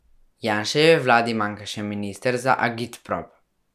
Janševi vladi manjka še minister za agitprop.